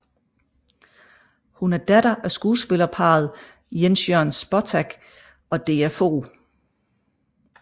Hun er datter af skuespillerparret Jens Jørn Spottag og Dea Fog